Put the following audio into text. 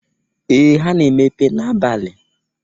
Ee! ha na-emepa n'abali.